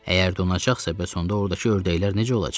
Əgər donacaqsa, bəs onda ordakı ördəklər necə olacaq?